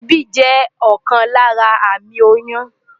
Èébì jẹ́ ọ̀kan lára àmì oyún.